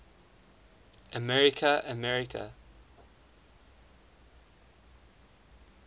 america america